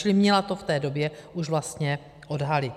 Čili měla to v té době už vlastně odhalit.